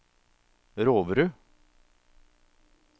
Roverud